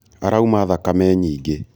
arauma thakame nyingĩ